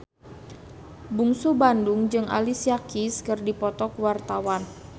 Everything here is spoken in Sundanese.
Bungsu Bandung jeung Alicia Keys keur dipoto ku wartawan